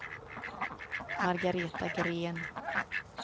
Margaretha Gren